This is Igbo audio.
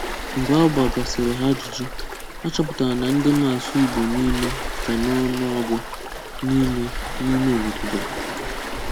Mgbe a gbagàsịrị hà ajụ́jụ́, achọ̀pụ̀tárà na ndị mà-asụ̀ Ìgbò n’ímè kà n’ọ̀nụ̀ọ̀gụ̀ n’ímé n’ímé òbòdò gā.